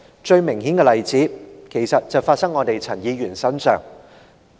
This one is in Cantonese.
最明顯的例子，其實就發生在我們的陳議員身上。